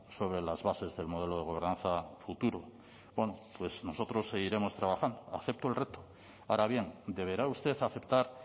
sobre las bases del modelo de gobernanza futuro bueno pues nosotros seguiremos trabajando acepto el reto ahora bien deberá usted aceptar